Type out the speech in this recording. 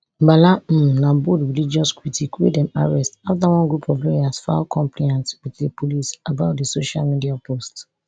bala um na bold religious critic wey dem arrest afta one group of lawyers file complaint wit di police about di social media post